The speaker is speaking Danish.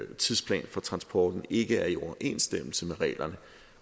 tidsplan for transporten ikke er i overensstemmelse med reglerne